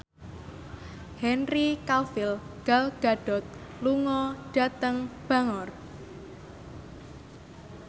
Henry Cavill Gal Gadot lunga dhateng Bangor